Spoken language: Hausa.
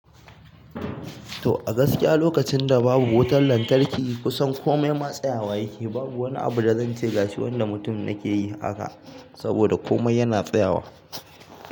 To a gaskiya lokacin da babu wutar lantarki kusan kome ma tsayawa yake, babu wani abu da zan ce gashi wanda mutum yake yi haka saboda komai yana tsayawa.